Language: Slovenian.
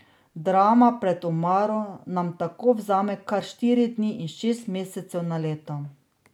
Drama pred omaro nam tako vzame kar štiri dni in šest mesecev na leto.